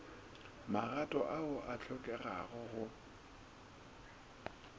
magato ao a hlokegago go